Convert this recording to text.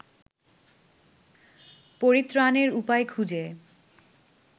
পরিত্রাণের উপায় খুঁজে